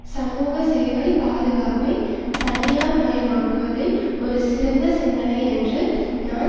சமூகசேவை பாதுகாப்பை தனியார்மயமாக்குவதை ஒரு சிறந்த சிந்தனை என்று நான்